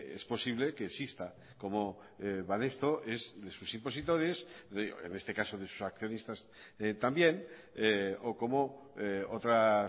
es posible que exista como banesto es de sus impositores en este caso de sus accionistas también o como otras